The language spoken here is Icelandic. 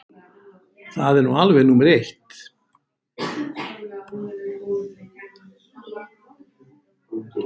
Það er nú alveg númer eitt.